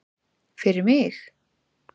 Fyrir mig?